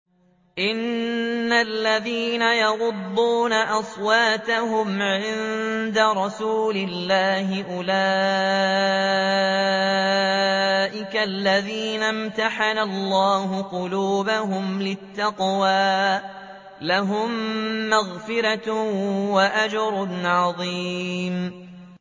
إِنَّ الَّذِينَ يَغُضُّونَ أَصْوَاتَهُمْ عِندَ رَسُولِ اللَّهِ أُولَٰئِكَ الَّذِينَ امْتَحَنَ اللَّهُ قُلُوبَهُمْ لِلتَّقْوَىٰ ۚ لَهُم مَّغْفِرَةٌ وَأَجْرٌ عَظِيمٌ